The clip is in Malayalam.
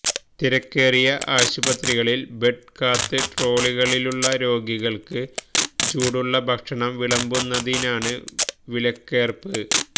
തിരക്കേറിയ ആശുപത്രികളിൽ ബെഡ് കാത്ത് ട്രോളികളിലുള്ള രോഗികൾക്ക് ചൂടുള്ള ഭക്ഷണം വിളമ്പുന്നതിനാണ് വിലക്കേർപ്പ